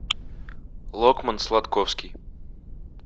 локман сладковский